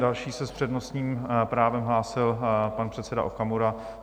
Další se s přednostním právem hlásil pan předseda Okamura.